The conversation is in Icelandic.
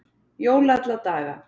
Jól alla daga